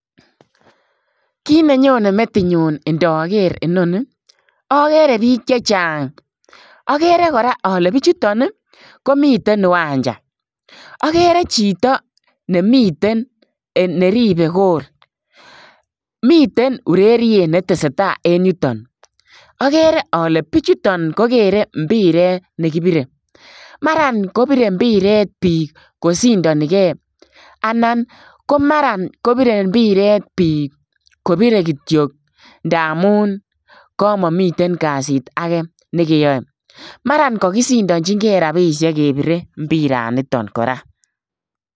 Kiit ne nyonei metinyuun ndaker inoni ii agere biik che chaang agere kora ale bichutoon ii komiteen iwaanja agere chitoo nemiten neribei [goal] miten ureriet be tesetai en yutoon agere ale bichutoon ii ko kerei mpireet be ki birei mara ko birei mpireet biik kosindanikei anan ko mara ko birei mpireet biik kobirei kityoi ndamuun kamamiten kasiit agei nekyae mara kagisindajinkei rapisheek kebirei mpireet nitoon kora.